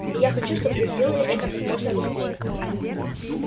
и я хочу чтобы вы сделали это как можно быстрее